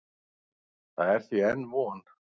Það er því enn von.